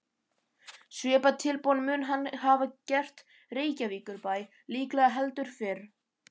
Svipað tilboð mun hann hafa gert Reykjavíkurbæ, líklega heldur fyrr.